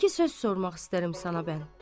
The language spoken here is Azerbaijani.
İki söz sormaq istəyirəm sana mən.